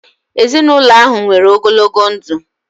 Ezinụlọ ahụ nwere ogologo ndụ